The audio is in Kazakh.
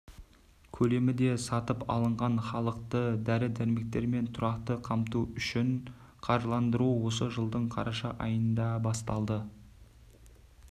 көлемі де сатып алынған халықты дәрі-дәрмекермен тұрақты қамту үшін қаржыландыру осы жылдың қараша айында басталады